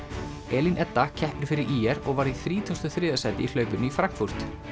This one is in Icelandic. Elín Edda keppir fyrir ÍR og varð í þrítugasta og þriðja sæti í hlaupinu í Frankfurt